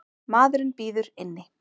Maðurinn bíður inni.